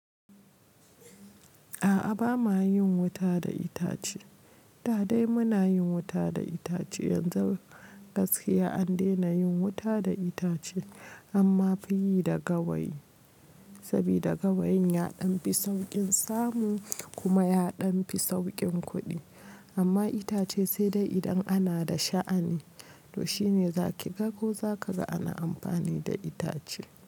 A'a ba ma yin wuta da itace. Da dai muna yin wuta da itace yanzu gaskiya an dena yin wuta da itace amma fiyi da gawayi, saboda gawayin ya ɗan fi saukin samu kuma ya ɗan fi saukin kuɗi. Amma itace sai dai idan ana da sha'ani to shine zaki ga ko zaka ga ana amfani da itace.